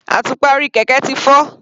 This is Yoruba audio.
Àtùpà orí kẹ̀kẹ́ ti fọ́.